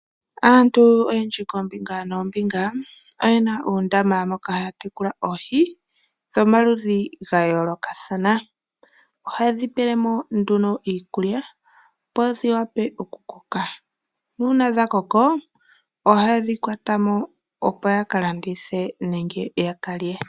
Aantu oyendji koombinga noombinga oyena uundama moka haya tekula oohi dhomaludhi gayoolokathana. Ohaye dhi pele mo nduno iikulya opo dhiwape okukoka. Nuuna dhakoko ohaye dhi kwata mo opo ya kalanditha nenge ya ka lye.